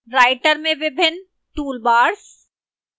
writer में विभिन्न toolbars